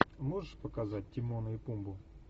можешь показать тимона и пумбу